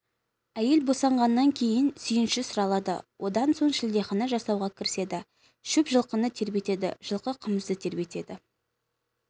әйел босанғаннан кейін сүйінші сұралады одан соң шілдехана жасауға кіріседі шөп жылқыны тербетеді жылқы қымызды тербетеді